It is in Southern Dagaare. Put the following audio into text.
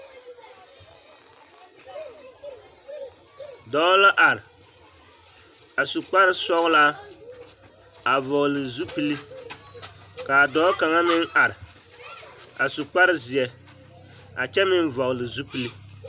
Dɔɔ la are a su kpare sɔgelaa a vɔgele zupili k'a dɔɔ kaŋa meŋ are a su kpare zeɛ a kyɛ meŋ vɔgele zupili.